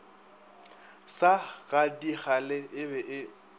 sa gadikgale e be e